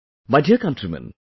My dear countrymen,